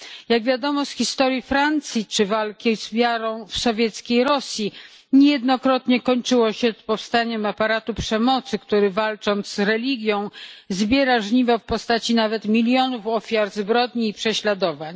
Jak wiadomo z historii Francji czy walki z wiarą w sowieckiej Rosji niejednokrotnie kończyło się to powstaniem aparatu przemocy, który walcząc z religią zbiera żniwo w postaci nawet milionów ofiar zbrodni i prześladowań.